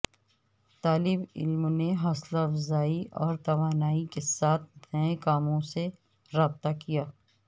طالب علم نے حوصلہ افزائی اور توانائی کے ساتھ نئے کاموں سے رابطہ کیا